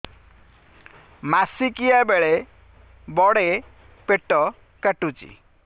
ମାସିକିଆ ବେଳେ ବଡେ ପେଟ କାଟୁଚି